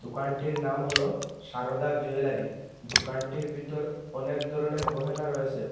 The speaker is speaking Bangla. দোকানটির নাম হল সারদা জুয়েলারি দোকানটির বিতর অনেক ধরনের গহেনা রয়েসে ।